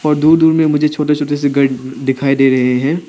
और दूर दूर में मुझे छोटे छोटे दिखाई दे रहे हैं।